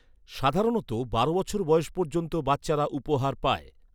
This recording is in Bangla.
সাধারণত, বারো বছর বয়স পর্যন্ত বাচ্চারা উপহার পায়।